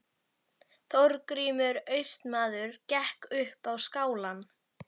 Þorgrímur Austmaður gekk upp á skálann.